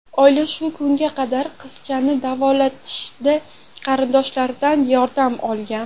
Oila shu kunga qadar qizchani davolatishda qarindoshlaridan yordam olgan.